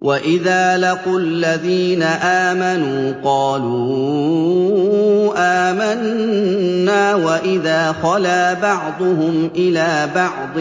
وَإِذَا لَقُوا الَّذِينَ آمَنُوا قَالُوا آمَنَّا وَإِذَا خَلَا بَعْضُهُمْ إِلَىٰ بَعْضٍ